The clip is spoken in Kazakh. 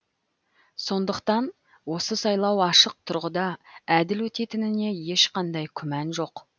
сондықтан осы сайлау ашық тұрғыда әділ өтетініне ешқандай күмән жоқ